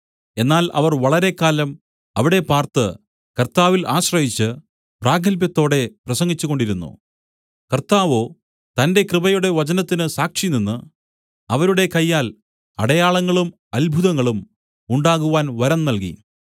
എന്നാൽ അവർ വളരെക്കാലം അവിടെ പാർത്ത് കർത്താവിൽ ആശ്രയിച്ച് പ്രാഗത്ഭ്യത്തോടെ പ്രസംഗിച്ചുകൊണ്ടിരുന്നു കർത്താവോ തന്റെ കൃപയുടെ വചനത്തിന് സാക്ഷിനിന്ന് അവരുടെ കയ്യാൽ അടയാളങ്ങളും അത്ഭുതങ്ങളും ഉണ്ടാകുവാൻ വരം നല്കി